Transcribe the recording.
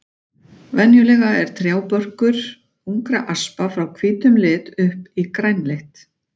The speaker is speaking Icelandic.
Venjulega er trjábörkur ungra aspa frá hvítum lit upp í grænleitt.